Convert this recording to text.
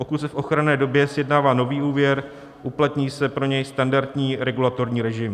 Pokud se v ochranné době sjednává nový úvěr, uplatní se pro něj standardní regulatorní režim.